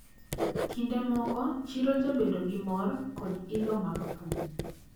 Kinde moko chiro jabedo gi mor kod ilo mag thum.